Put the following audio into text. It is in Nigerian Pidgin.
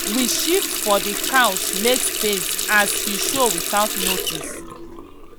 we shift for the couch make space as he show without notice.